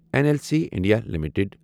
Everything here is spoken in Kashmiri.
N L C India limited